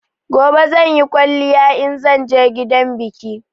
Gobe zanyi kwaliya inzan je gidan biki